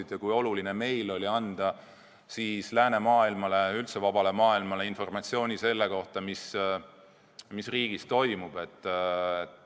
Me teame, kui oluline meile oli anda siis läänemaailmale ja üldse vabale maailmale informatsiooni selle kohta, mis riigis toimub.